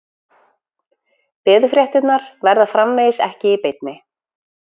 Veðurfréttirnar verða framvegis ekki í beinni